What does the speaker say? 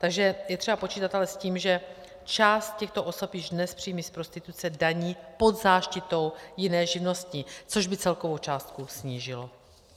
Takže je třeba počítat ale s tím, že část těchto osob již dnes příjmy z prostituce daní pod záštitou jiné živnosti, což by celkovou částku snížilo.